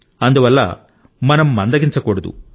అందువల్ల మనం మందగించకూడదు